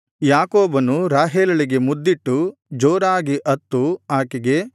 ಯಾಕೋಬನು ರಾಹೇಲಳಿಗೆ ಮುದ್ದಿಟ್ಟು ಜೋರಾಗಿ ಅತ್ತು ಆಕೆಗೆ